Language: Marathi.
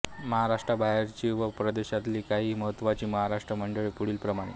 महाराष्ट्राबाहेरची व परदेशातली काही महत्त्वाची महाराष्ट्र मंडळे पुढील प्रमाणे